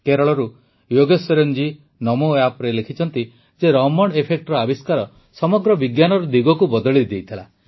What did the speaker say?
କେରଳରୁ ୟୋଗେଶ୍ୱରନ୍ ଜୀ ନମୋଆପ୍ରେ ଲେଖିଛନ୍ତି ଯେ ରମଣ୍ ଏଫେକ୍ଟର ଆବିଷ୍କାର ସମଗ୍ର ବିଜ୍ଞାନର ଦିଗକୁ ବଦଳାଇ ଦେଇଥିଲା